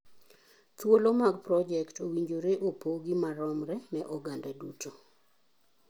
Thuolo mag projekt owinjore opogi maromre ne oganda duto